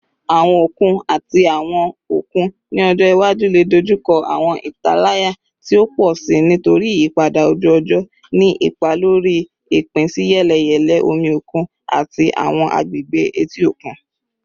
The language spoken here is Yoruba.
Awọn okun ati awọn okun ni ọjọ iwaju le dojuko awọn italaya ti o pọ si nitori iyipada oju-ọjọ, ni ipa lori ipinsiyeleyele omi okun ati awọn agbegbe eti okun.